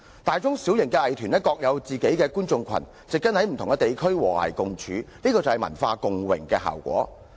大中小型藝團各有其觀眾群，植根於不同地區和諧共處，這是文化共榮的效果。